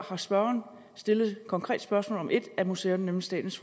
har spørgeren stillet et konkret spørgsmål om et af museerne nemlig statens